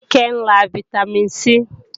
Kíkẹ́ ń lá Vitamin C